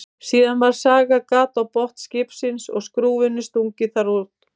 Síðan var sagað gat á botn skipsins og skrúfunni stungið þar niður.